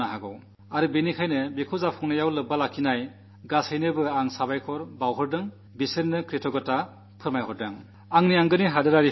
അതുകൊണ്ടുതന്നെ ഇതിനെ വിജയപ്രദമാക്കാൻ ഒത്തുചേർന്ന് എല്ലാവരോടും കൃതജ്ഞത വ്യക്തമാക്കട്ടെ നന്ദി പ്രകടിപ്പിക്കട്ടെ